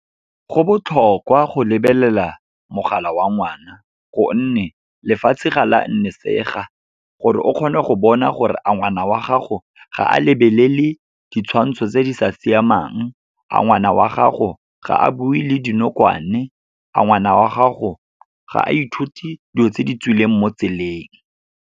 Go botlhokwa go lebelela mogala wa ngwana, gonne lefatshe ga la nnisega. Gore o kgone go bona gore a ngwana wa gago ga a lebelele ditshwantsho tse di sa siamang, a ngwana wa gago ga a bue le dinokwane, a ngwana wa gago ga a ithute dilo tse di tswileng mo tseleng.